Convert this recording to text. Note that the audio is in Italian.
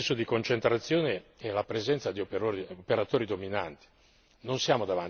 La seconda è l'eccesso di concentrazione e la presenza di operatori dominanti.